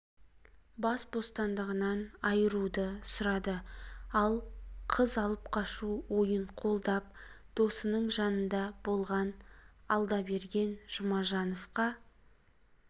бас бостандығынан айыруды сұрады ал қыз алып қашу ойын қолдап досының жанында болған алдаберген жұмажановқа